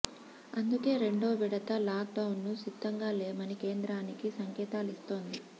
అందుకే రెండో విడత లాక్ డౌన్కు సిద్ధంగా లేమని కేంద్రానికి సంకేతాలిస్తోంది